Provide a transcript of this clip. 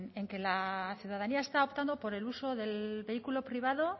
en que la ciudadanía está optando por el uso del vehículo privado